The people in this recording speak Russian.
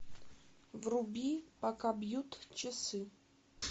вруби пока бьют часы